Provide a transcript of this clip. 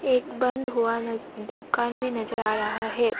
एक बंद हुआ नज दुकान भी नजर आ रहा है।